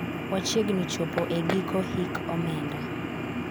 wachiegni chopo e giko hik omenda